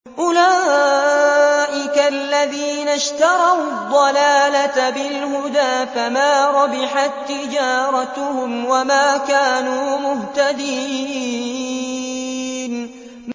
أُولَٰئِكَ الَّذِينَ اشْتَرَوُا الضَّلَالَةَ بِالْهُدَىٰ فَمَا رَبِحَت تِّجَارَتُهُمْ وَمَا كَانُوا مُهْتَدِينَ